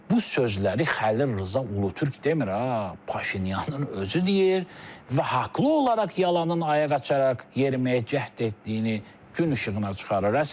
Bu sözləri Xəlil Rza Ulutürk demir, ha, Paşinyanın özü deyir və haqlı olaraq yalanın ayaq açaraq yeriməyə cəhd etdiyini gün işığına çıxarır.